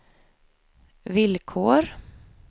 villkor